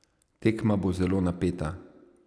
Tekma bo zelo napeta.